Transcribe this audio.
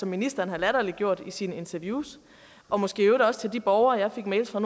ministeren har latterliggjort i sine interviews og måske i øvrigt også til de borgere jeg fik mails fra